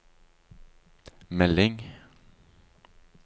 melding